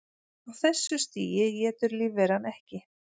Á þessu stigi étur lífveran ekki.